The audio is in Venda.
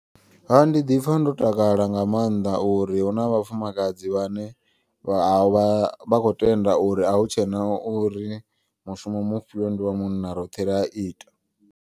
Ha ndi ḓipfha ndo takala nga maanḓa uri huna vhafumakadzi vhane vha vha vha kho tenda. Uri ahu tshena uri mushumo mufhio ndi wa munna roṱhe ri a ita.